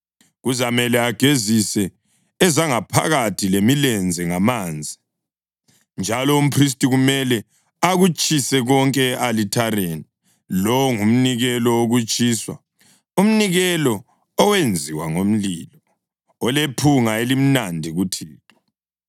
Kuzamele agezise ezangaphakathi lemilenze ngamanzi, njalo umphristi kumele akutshise konke e-alithareni. Lowo ngumnikelo wokutshiswa, umnikelo owenziwa ngomlilo, olephunga elimnandi kuThixo.